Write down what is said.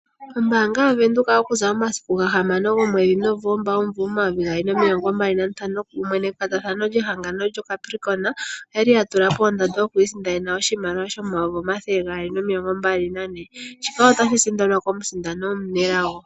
Ombaanga yavenduka oku za momasiku gahamano gomwedhi Novemba, omumvo omayovi gaali nomilongo mbali nantano, kumwe nekwatathano lyehangano lyoCapricorn, oyali ya tula po ondando yokwiisindanena oshimaliwa shomayovi omathele gaali nomilongo mbali nane. Shika otashi sindanwa komusindani omunelago.